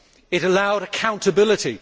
It allowed accountability.